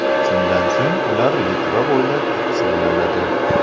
Shundan so‘ng ular Litva bo‘ylab taqsimlanadi.